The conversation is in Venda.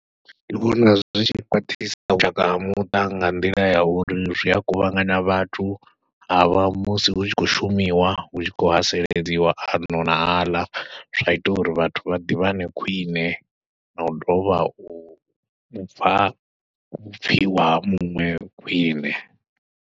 Ndi vhona zwi tshi khwaṱhisa vhushaka ha muṱa nga nḓila ya uri zwi a kuvhangana vhathu, ha vha musi hu tshi khou shumiwa hu tshi khou haseledziwa ano na aḽa, zwa ita uri vhathu vha ḓivhane khwine, na u dovha u u pfha vhupfhiwa ha muṅwe khwiṋe.